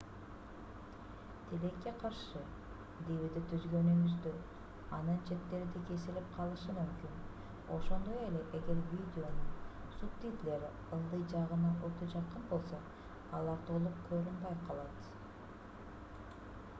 тилекке каршы dvd түзгөнүңүздө анын четтери да кесилип калышы мүмкүн ошондой эле эгер видеонун субтитрлери ылдый жагына өтө жакын болсо алар толук көрүнбөй калат